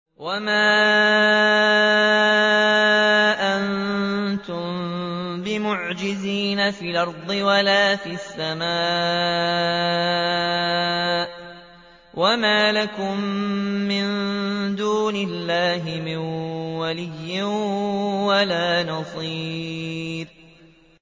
وَمَا أَنتُم بِمُعْجِزِينَ فِي الْأَرْضِ وَلَا فِي السَّمَاءِ ۖ وَمَا لَكُم مِّن دُونِ اللَّهِ مِن وَلِيٍّ وَلَا نَصِيرٍ